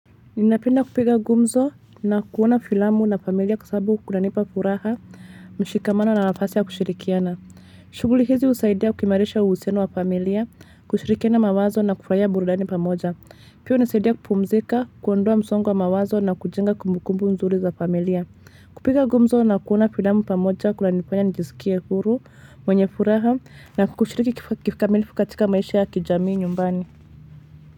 Ninapenda kupiga gumzo na kuona filamu na familia kwa sababu kunanipa furaha mshikamano na nafasi ya kushirikiana. Shuguli hizi usaidia kuimarisha uhusiano wa familia, kushirikiana mawazo na kufurahia burudani pamoja. Pia unisaidia kupumzika, kuondoa msongo wa mawazo na kujenga kumbukumbu nzuri za familia. Kupiga gumzo na kuona filamu pamoja kunanifanya nijisikie huru mwenye furaha na kushiriki kikamilivu katika maisha ya kijamii nyumbani.